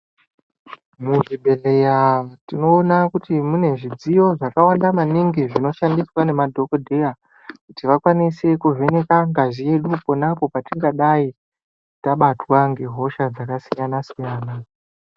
Muzvibhedhleya tinoona kuti mune zvidziyo zvakawanda maningi zvinoshandiswa ngemadhokodheya, kuti vakwanise kuvheneka ngazi yedu, pona apo patingadai tabatwa ngehosha dzakasiyana-siyana.